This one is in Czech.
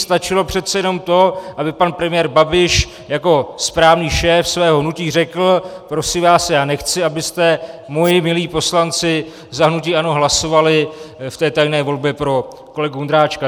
Stačilo přece jenom to, aby pan premiér Babiš jako správný šéf svého hnutí řekl prosím vás, já nechci, abyste, moji milí poslanci za hnutí ANO, hlasovali v té tajné volbě pro kolegu Ondráčka.